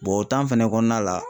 o fɛnɛ kɔnɔna la